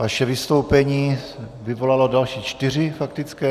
Vaše vystoupení vyvolalo další čtyři faktické.